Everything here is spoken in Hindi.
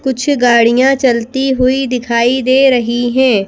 कुछ गाड़ियां चलती हुई दिखाई दे रही हैं।